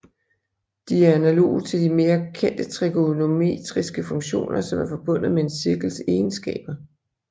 De er analoge til de mere kendte trigonometriske funktioner som er forbundet med en cirkels egenskaber